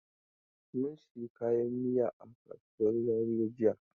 Mun sayi kayan miya a kasuwan Zaria jiya.